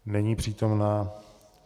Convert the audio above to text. Není přítomna.